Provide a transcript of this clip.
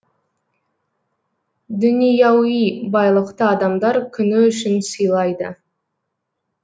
дүнияуи байлықты адамдар күні үшін сыйлайды